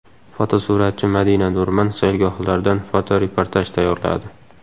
Fotosuratchi Madina Nurman saylgohlardan fotoreportaj tayyorladi.